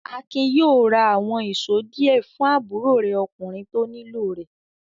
Akin yóò ra àwọn ìṣó díẹ̀ fún àbúrò rẹ̀ ọkùnrin tó nílò rẹ̀.